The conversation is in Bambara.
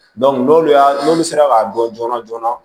n'olu y'a n'olu sera k'a dɔn joona joona